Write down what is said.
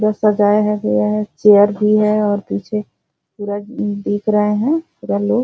बहुत सजाया गया है चेयर भी है और पीछे पूरा दिख रहे है पूरा लोग --